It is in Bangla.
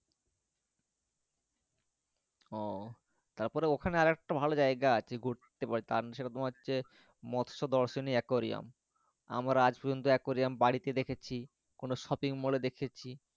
ও তারপরে ওখানে আরেকটা ভালো জায়গা আছে ঘুরতে পারো সেটা তোমার হচ্ছে মৎস্য দর্শনের aquarium আমরা আজ পর্যন্ত aquarium বাড়িতে দেখেছি কোনো shopping mall এ দেখেছি